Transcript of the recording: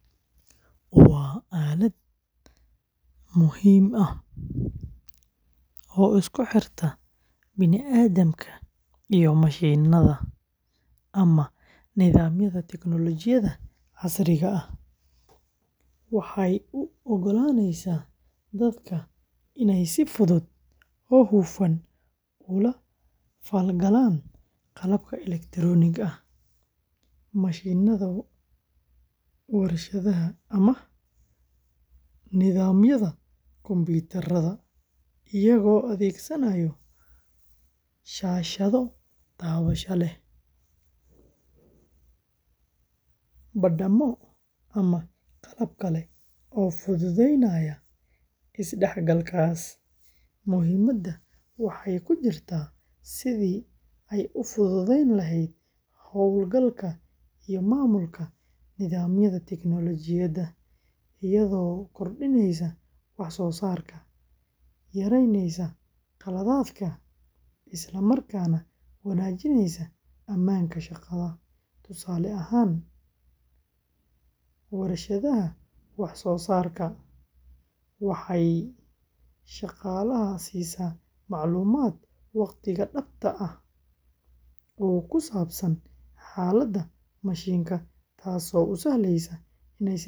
Waa aalad muhiim ah oo isku xirta bini’aadamka iyo mashiinnada ama nidaamyada tignoolajiyada casriga ah, waxay u oggolaanaysaa dadka inay si fudud oo hufan ula falgalaan qalabka elektarooniga ah, mashiinnada warshadaha, ama nidaamyada kombiyuutarada iyagoo adeegsanaya shaashado taabasho, badhammo, ama qalab kale oo fududeynaya is-dhexgalkaas. Muhiimadda waxay ku jirtaa sidii ay u fududeyn lahayd hawlgalka iyo maamulka nidaamyada tignoolajiyada, iyadoo kordhineysa wax soo saarka, yareyneysa khaladaadka, isla markaana wanaajinaysa ammaanka shaqada. Tusaale ahaan, warshadaha wax soo saarka, waxay shaqaalaha siisaa macluumaad waqtiga-dhabta ah oo ku saabsan xaaladda mashiinka, taasoo u sahlaysa inay si degdeg ah.